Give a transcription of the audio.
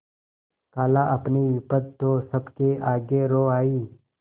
खालाअपनी विपद तो सबके आगे रो आयी